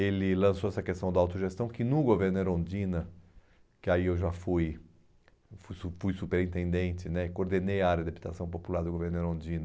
Ele lançou essa questão da autogestão, que no governo Erundina, que aí eu já fui eu fui fui superintendente né, coordenei a área de adaptação popular do governo Erundina,